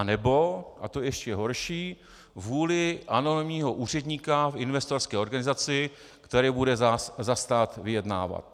A nebo, a to je ještě horší, vůlí anonymního úředníka v investorské organizaci, který bude za stát vyjednávat.